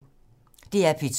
DR P2